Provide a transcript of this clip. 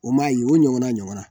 O m'a ye o ɲɔgɔnna, ɲɔgɔn na.